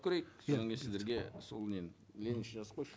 көрейік иә содан кейін сіздерге сол нені мені еще жазып қойшы